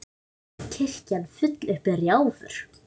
Kirkjan full upp í rjáfur.